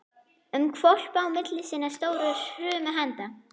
um hvolpi á milli sinna stóru hrumu handa.